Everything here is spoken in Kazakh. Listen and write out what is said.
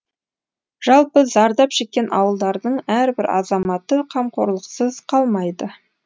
жалпы зардап шеккен ауылдардың әрбір азаматы қамқорлықсыз қалмайды